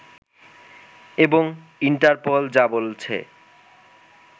এবং ইনটারপোল যা বলছে